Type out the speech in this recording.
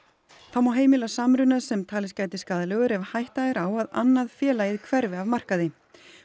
þá má heimila samruna sem talist gæti skaðlegur ef hætta er á að annað félagið hverfi af markaði